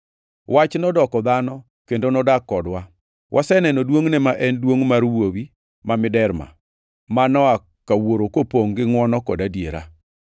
Wach nodoko dhano kendo nodak kodwa. Waseneno duongʼne, ma en duongʼ mar Wuowi ma Miderma, ma noa ka Wuoro kopongʼ gi ngʼwono kod adiera.